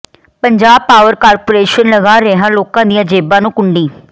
Punjab power corporation ਲਗਾ ਰਿਹੈ ਲੋਕਾਂ ਦੀਆਂ ਜੇਬ੍ਹਾਂ ਨੂੰ ਕੁੰਡੀ